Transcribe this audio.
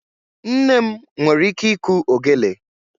Nne m nwere ike ịkụ ogelè.